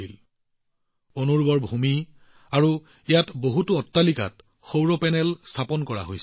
ইয়াত অনুৰ্বৰ ভূমি আৰু বহুতো অট্টালিকাত সৌৰ পেনেল স্থাপন কৰা হৈছিল